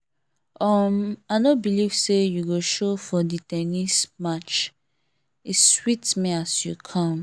um i no believe say you go show for the ten nis match e sweet me as you come